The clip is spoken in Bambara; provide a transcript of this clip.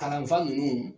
Kalanfa ninnu